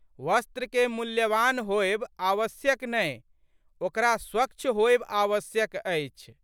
वस्त्रकेँ मूल्यवान होएब आवश्यक नहि ओकरा स्वच्छ होएब आवश्यक अछि।